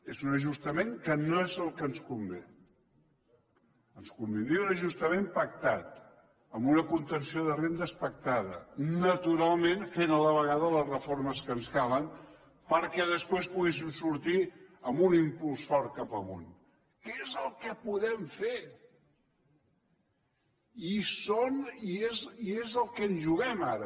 és un ajustament que no és el que ens convé ens convindria un ajustament pactat amb una contenció de rendes pactada naturalment fent a la vegada les reformes que ens calen perquè després poguéssim sortir amb un impuls fort cap amunt que és el que podem fer i és el que ens juguem ara